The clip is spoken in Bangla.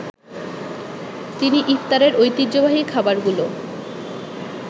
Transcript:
তিনি ইফতারে ঐতিহ্যবাহী খাবারগুলো